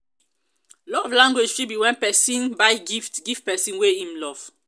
love language fit be when persin buy gift give persin wey im love